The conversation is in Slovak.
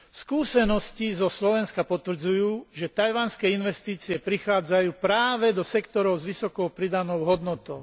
Skúsenosti zo Slovenska potvrdzujú, že taiwanské investície prichádzajú práve do sektorov s vysokou pridanou hodnotou.